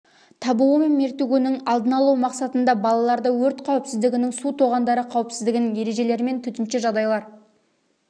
табуы мен мертігуінің алдын алу мақсатында балаларды өрт қауіпсіздігінің су тоғандары қауіпсіздігінің ережелерімен төтенше жағдайлар